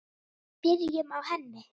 Byrjum á henni.